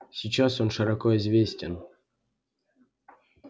сейчас он широко известен